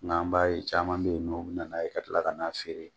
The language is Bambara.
Nka Nk'an b'a ye caman bɛ yen nɔ, u bɛ na n'a ye ka tila ka n'a feere